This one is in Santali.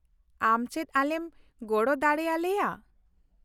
ᱟᱢ ᱪᱮᱫ ᱟᱞᱮᱢ ᱜᱚᱲᱚ ᱫᱟᱲᱮ ᱟᱞᱮᱭᱟ ?